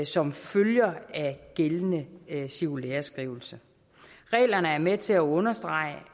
som følger af gældende cirkulæreskrivelse reglerne er med til at understrege